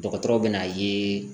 Dɔgɔtɔrɔw bɛ n'a ye